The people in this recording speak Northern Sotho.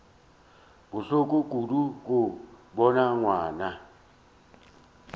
bohloko kudu go bona ngwana